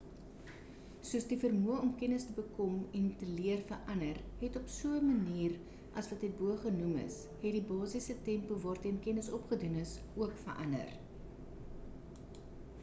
soos die vermoë om kennis te bekom en te leer verander het op so 'n manier as wat hierbo genoem is het die basiese tempo waarteen kennis opgedoen is ook verander